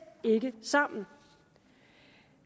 ikke sammen